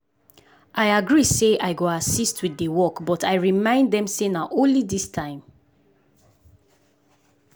i agree say i go assist with the work but i remind them say na only this time.